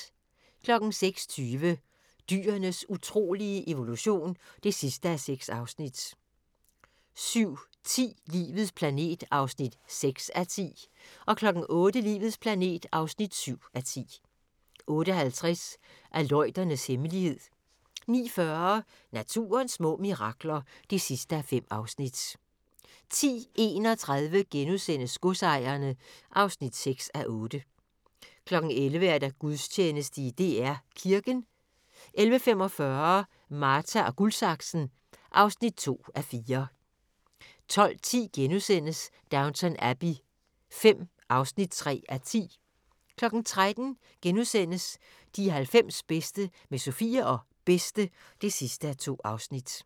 06:20: Dyrenes utrolige evolution (6:6) 07:10: Livets planet (6:10) 08:00: Livets planet (7:10) 08:50: Aleuternes hemmelighed 09:40: Naturens små mirakler (5:5) 10:31: Godsejerne (6:8)* 11:00: Gudstjeneste i DR Kirken 11:45: Marta & Guldsaksen (2:4) 12:10: Downton Abbey V (3:10)* 13:00: De 90 bedste med Sofie og Bedste (2:2)*